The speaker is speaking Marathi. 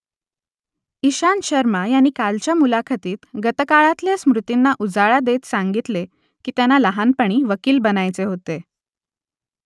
इशांत शर्मा यांनी कालच्या मुलाखतीत गतकाळातल्या स्मृतींना उजाळा देत सांगितले की त्यांना लहानपणी वकील बनायचे होते